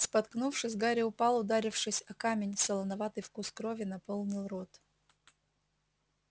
споткнувшись гарри упал ударившись о камень солоноватый вкус крови наполнил рот